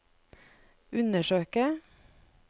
undersøke